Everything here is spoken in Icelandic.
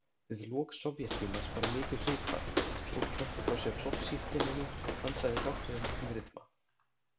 Við lok Sovéttímans varð mikið hughvarf, fólk henti frá sér flokkssírteininu og dansaði dátt með miklum ryþma.